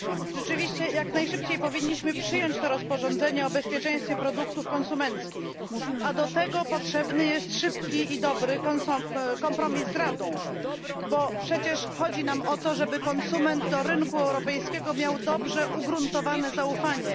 Rzeczywiście, jak najszybciej powinniśmy przyjąć to rozporządzenie o bezpieczeństwie produktów konsumenckich, a do tego potrzebny jest szybki i dobry kompromis z Radą, bo przecież chodzi nam o to, żeby konsument do rynku europejskiego miał dobrze ugruntowane zaufanie.